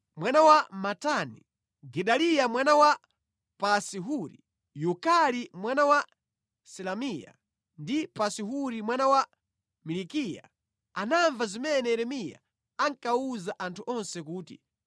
Sefatiya mwana wa Matani, Gedaliya mwana wa Pasi-Huri, Yukali mwana wa Selemiya, ndi Pasi-Huri mwana wa Malikiya anamva zimene Yeremiya ankawuza anthu onse kuti,